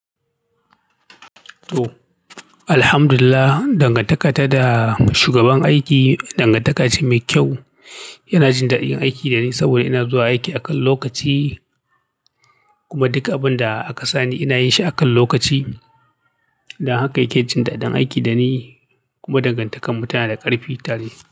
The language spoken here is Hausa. To, alhamdulillah, dangantaka ta da shugaban aiki dangantaka ce mai kyau. Yana jin daɗin aiki da ni saboda ina zuwa aiki akan lokaci kuma duk abin da aka sani ina yin shi akan lokaci. Don haka yake jin daɗin aiki da ni kuma dangantakar mu tana da ƙarfi tare.